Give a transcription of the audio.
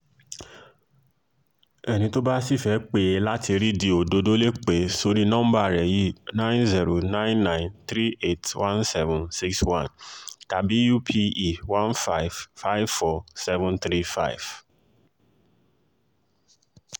ẹni tó bá sì fẹ́ẹ́ pè é láti rídì òdodo lè pẹ́ sórí nọmba rẹ̀ yìí nine billion ninety nine million three hundred eighty one thousand seven hundred sixty one tàbí upe one million five hundred fifty four thousand seven hundred thirty five